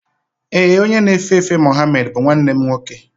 Ee, onye na-efe efe Muhammed bụ nwanne m nwoke.